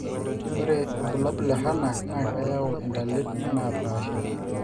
ore ilbulabul le HANAC na keyau intalip naapaasha